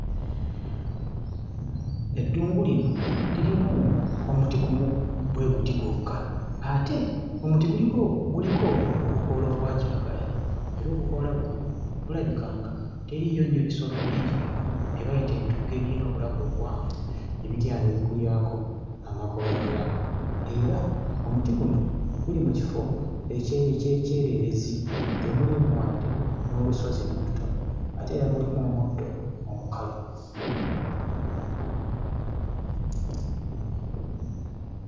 Eddungu lino lirimu omuti gumu bwe guti gwokka ate omuti guliko guliko obukoola obwa kiragala era obukoola buno bulabika nga teriiyo nnyo bisolo bingi, bino bye bayita entugga ebirina obulago obuwanvu ebigenda ne bigulyako amakoola gaabyo, era omuti guno guli mu kifo eky'ekyererezi; temuliimu wadde n'olusozi n'olutono ate era mulimu omuddo omukalu.